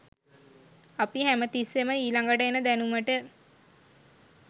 අපි හැම තිස්සේම ඊළඟට එන දැනුමට